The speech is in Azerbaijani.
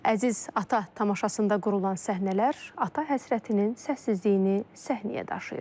Əziz ata tamaşasında qurulan səhnələr ata həsrətinin səssizliyini səhnəyə daşıyır.